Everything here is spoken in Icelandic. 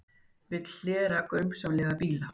Vill hlera grunsamlega bíla